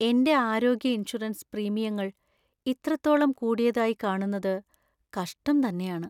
എന്‍റെ ആരോഗ്യ ഇൻഷുറൻസ് പ്രീമിയങ്ങൾ ഇത്രത്തോളം കൂടിയതായി കാണുന്നത് കഷ്ടം തന്നെയാണ് .